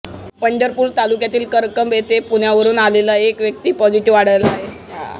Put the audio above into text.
पंढरपूर तालुक्यातील करकंब येथे पुण्यावरून आलेला एक व्यक्ती पॉझिटिव्ह आढळला आहे